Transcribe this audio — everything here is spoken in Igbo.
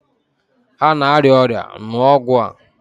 Ha na-arịa ọrịa, ṅụọ ọgwụ a!